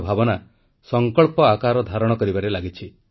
ଏହି ପାରିବା ଭାବନା ସଂକଳ୍ପ ଆକାର ଧାରଣ କରିବାରେ ଲାଗିଛି